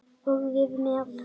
Og við með.